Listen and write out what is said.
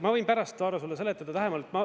Ma võin pärast sulle seletada lähemalt.